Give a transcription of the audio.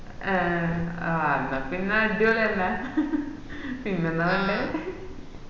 ഏഹ് എന്ന പിന്നെ അഡ്വളി അല്ല പിന്നെന്താ വേണ്ടേ